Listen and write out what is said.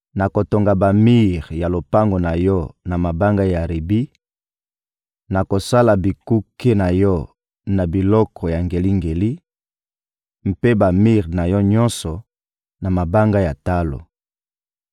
nakotonga bamir ya lopango na yo na mabanga ya ribi, nakosala bikuke na yo na biloko ya ngelingeli, mpe bamir na yo nyonso, na mabanga ya talo.